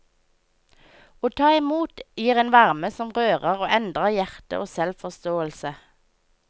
Å ta imot gir en varme som rører og endrer hjerte og selvforståelse.